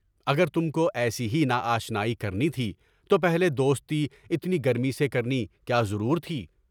اگر تم کو ایسی ہی ناآشنائی کرنی تھی، تو پہلے دوستی اتنی گرمی سے کرنی کیا ضرورتھی؟